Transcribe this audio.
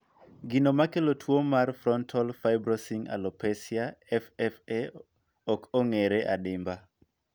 Gino makelo tuo mar frontal fibrosing alopecia (FFA) ok ong'ere adimba